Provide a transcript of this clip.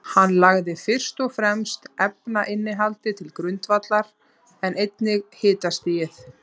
Hann lagði fyrst og fremst efnainnihaldið til grundvallar, en einnig hitastigið.